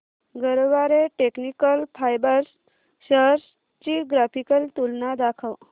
Garware technical fibres shares ची graphical तुलना दाखव